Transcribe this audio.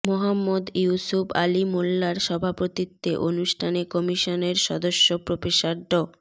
মোহাম্মদ ইউসুফ আলী মোল্লার সভাপতিত্বে অনুষ্ঠানে কমিশনের সদস্য প্রফেসর ড